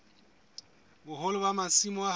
boholo ba masimo a hao